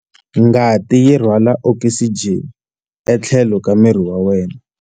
Ngati yi rhwala okisijeni etlhelo ka miri wa wena.